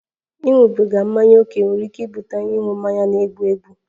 Ịṅụbiga mmanya ókè nwere ike ibute ịṅụ mmanya na-egbu egbu